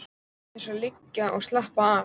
Örn naut þess að liggja og slappa af.